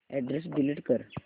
address delete कर